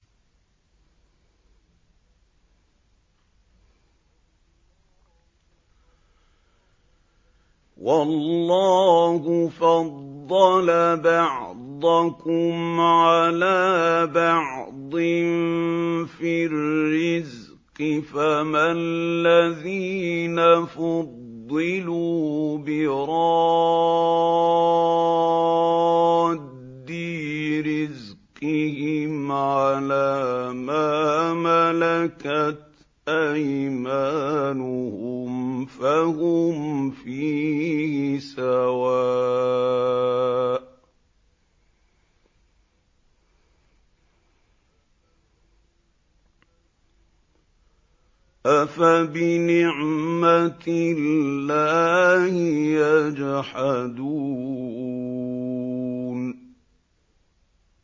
وَاللَّهُ فَضَّلَ بَعْضَكُمْ عَلَىٰ بَعْضٍ فِي الرِّزْقِ ۚ فَمَا الَّذِينَ فُضِّلُوا بِرَادِّي رِزْقِهِمْ عَلَىٰ مَا مَلَكَتْ أَيْمَانُهُمْ فَهُمْ فِيهِ سَوَاءٌ ۚ أَفَبِنِعْمَةِ اللَّهِ يَجْحَدُونَ